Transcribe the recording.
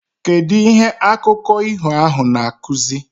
Kedu ihe akụko iho ahu na akuzi?